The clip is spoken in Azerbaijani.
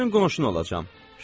Sənin qonşun olacam.